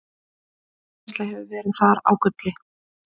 jarðvinnsla hefur verið þar á gulli